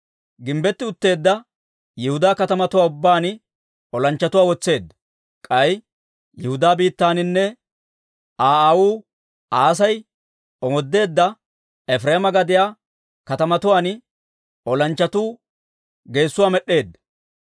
Gimbbetti utteedda Yihudaa katamatuwaa ubbaan olanchchatuwaa wotseedda; k'ay Yihudaa biittaaninne Aa aawuu Asay omoodeedda Efireema gadiyaa katamatuwaan olanchchatuu geesuwaa med'd'eedda.